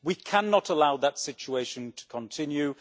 We cannot allow that situation to continue.